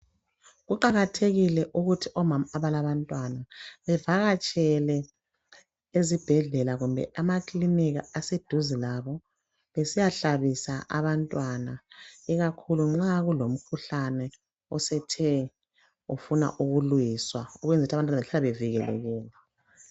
Kuqakathekile ukuthi omama abalabantwana bevakatshele ezibhedlela kimbe ema kilinika aseduze kwabo besiyahlabisa abntwana ikakhulu nxakulomkhuhlane osethe ufuna ukulungiswa ukwenzele ukuthi abantwana behlale bevikelekile